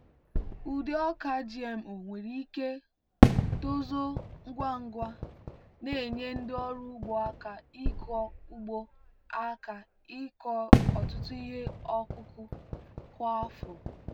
ụdị ọka gmo nwere ike tozuo ngwa ngwa na-enye ndị ọrụ ugbo aka ịkọ ugbo aka ịkọ ọtụtụ ihe ọkụkụ kwa afọ.